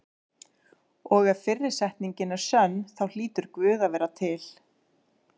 Og ef fyrri setningin er sönn þá hlýtur Guð að vera til.